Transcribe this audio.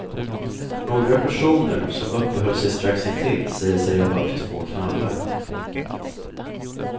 Några personer som uppehöll sig strax intill säger sig ha hört två knallar.